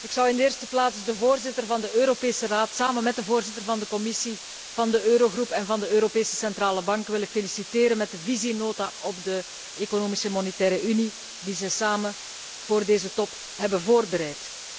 Ik zou in de eerste plaats de voorzitter van de Europese Raad samen met de voorzitter van de Commissie van de Eurogroep en de president van de Europese Centrale Bank willen feliciteren met de visienota op de Economische en Monetaire Unie die zij samen voor deze top hebben voorbereid.